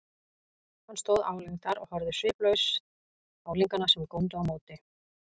Hann stóð álengdar og horfði sviplaust á unglingana, sem góndu á móti.